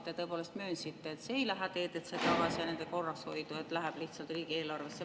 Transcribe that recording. Te tõepoolest möönsite, et see ei lähe tagasi teedesse ja nende korrashoidu, vaid läheb lihtsalt riigieelarvesse.